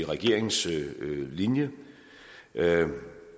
regeringens linje der er